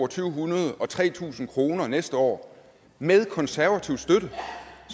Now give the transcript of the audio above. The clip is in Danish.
to hundrede og tre tusind kroner næste år med konservativ støtte